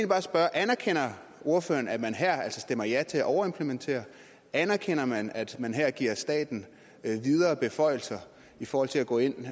bare spørge anerkender ordføreren at man her altså stemmer ja til at overimplementere anerkender man at man her giver staten videre beføjelser i forhold til at gå ind